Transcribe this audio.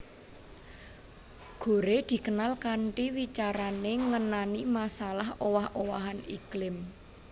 Gore dikenal kanthi wicarané ngenani masalah owah owahan iklim